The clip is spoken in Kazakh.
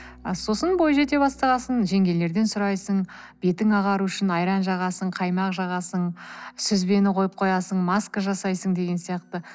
а сосын бой жете бастағасын жеңгелерден сұрайсың бетің ағару үшін айран жағасың қаймақ жағасың сүзбені койып қоясың маска жасайсың деген сияқты